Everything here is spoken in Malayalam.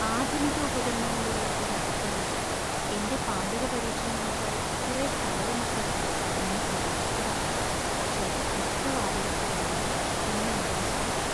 ആധുനിക ഉപകരണങ്ങളുള്ള ഒരു അടുക്കളയും എന്‍റെ പാചക പരീക്ഷണങ്ങൾക്കായി കുറെ സ്ഥലവും ഒക്കെ ഞാൻ പ്രതീക്ഷിച്ചതാ , പക്ഷേ മിക്ക വാടക സ്ഥലങ്ങളും എന്നെ നിരാശപ്പെടുത്തി.